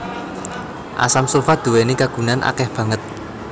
Asam sulfat nduwèni kagunan akèh banget